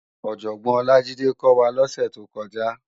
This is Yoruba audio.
Òjògbòn Olajide kò wá lòsè tókòjá